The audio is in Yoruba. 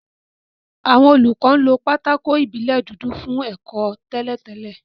Àwọn olùkọ́ lo pátákó ìbílẹ̀ dúdú fún ẹ̀kọ́ tẹ́lẹ̀ tẹ́lẹ̀